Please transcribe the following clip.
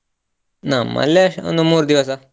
ನಮ್ಮಲ್ಲಿ ಎಷ್ಟ್ ಒಂದ್ ಮೂರು ದಿವಸ.